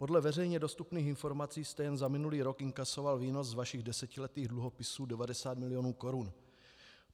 Podle veřejně dostupných informací jste jen za minulý rok inkasoval výnos z vašich desetiletých dluhopisů 90 milionů korun.